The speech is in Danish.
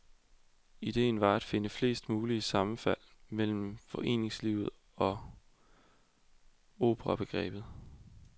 Ideen var at finde flest mulige sammenfald mellem foreningslivet og operabegrebet.